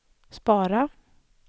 spara